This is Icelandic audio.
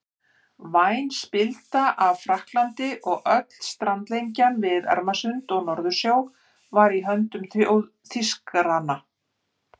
Væn spilda af Frakklandi og öll strandlengjan við Ermarsund og Norðursjó var í höndum Þýskaranna.